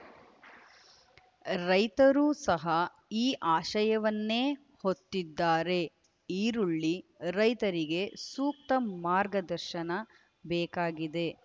ರೈತರು ಸಹ ಈ ಆಶಯವನ್ನೇ ಹೊತ್ತಿದ್ದಾರೆ ಈರುಳ್ಳಿ ರೈತರಿಗೆ ಸೂಕ್ತ ಮಾರ್ಗದರ್ಶನ ಬೇಕಾಗಿದೆ